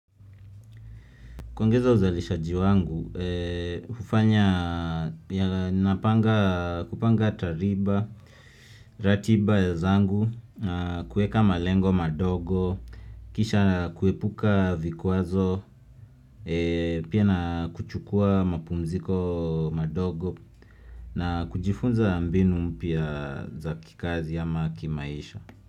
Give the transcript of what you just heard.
Kuongeza uzalishaji wangu, hufanya kupanga tariba, ratiba ya zangu, kuweka malengo madogo, kisha kuepuka vikwazo, pia na kuchukua mapumziko madogo, na kujifunza mbinu mpya za kikazi ama kimaisha.